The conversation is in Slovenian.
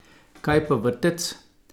Kaj pa vrtec?